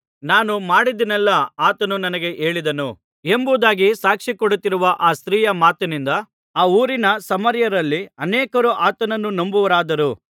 ನಾನು ಮಾಡಿದ್ದನ್ನೆಲ್ಲಾ ಆತನು ನನಗೆ ಹೇಳಿದನು ಎಂಬುದಾಗಿ ಸಾಕ್ಷಿಕೊಡುತ್ತಿರುವ ಆ ಸ್ತ್ರೀಯ ಮಾತಿನಿಂದ ಆ ಊರಿನ ಸಮಾರ್ಯರಲ್ಲಿ ಅನೇಕರು ಆತನನ್ನು ನಂಬುವವರಾದರು